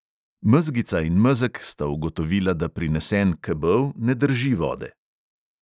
Mezgica in mezeg sta ugotovila, da prinesen kebel ne drži vode.